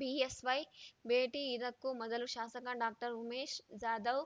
BSY ಭೇಟಿ ಇದಕ್ಕೂ ಮೊದಲು ಶಾಸಕ ಡಾಕ್ಟರ್ ಉಮೇಶ್ ಜಾಧವ್